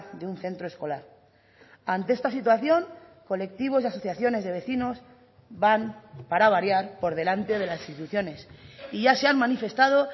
de un centro escolar ante esta situación colectivos y asociaciones de vecinos van para variar por delante de las instituciones y ya se han manifestado